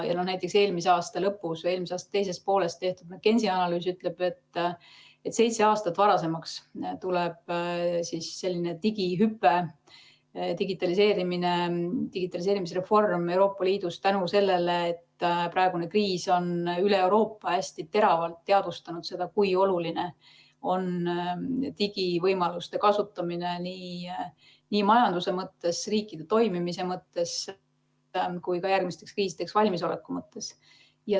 Näiteks, eelmise aasta teises pooles tehtud McKenzie analüüs ütleb, et selline digihüpe, digitaliseerimisreform Euroopa Liidus liigub seitse aastat varasemaks tänu sellele, et praegune kriis on üle Euroopa hästi teravalt teadvustanud, kui oluline on digivõimaluste kasutamine nii majanduse ja riikide toimimise mõttes kui ka järgmisteks kriisideks valmisoleku mõttes.